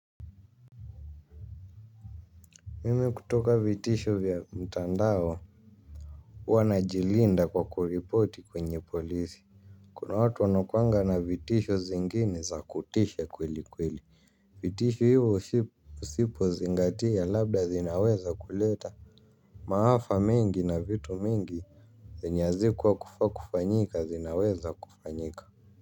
Mimi kutoka vitisho vya mtandao hua najilinda kwa kuripoti kwenye polisi. Kuna watu wanakuanga na vitisho zingine za kutisha kweli kweli. Vitisho hivo usipo zingatia labda zinaweza kuleta maafa mengi na vitu mingi zenye azikua kufa kufanyika zinaweza kufanyika.